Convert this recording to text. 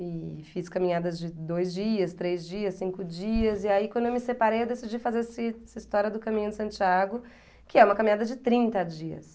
E fiz caminhadas de dois dias, três dias, cinco dias, e aí quando eu me separei eu decidi fazer esse essa história do Caminho de Santiago, que é uma caminhada de trinta dias.